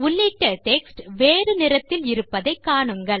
உள்ளிட்ட டெக்ஸ்ட் வேறு நிறத்தில் இருப்பதை காணுங்கள்